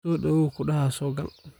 Sodhawaw kudhaxa sogal.